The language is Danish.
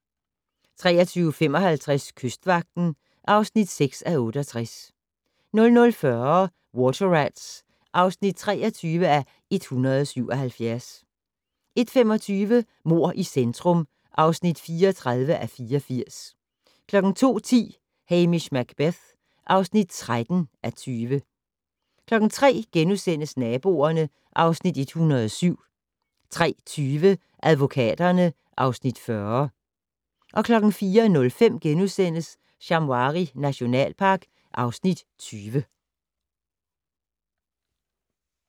23:55: Kystvagten (6:68) 00:40: Water Rats (23:177) 01:25: Mord i centrum (34:84) 02:10: Hamish Macbeth (13:20) 03:00: Naboerne (Afs. 107)* 03:20: Advokaterne (Afs. 40) 04:05: Shamwari nationalpark (Afs. 20)*